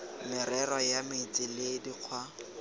merero ya metsi le dikgwa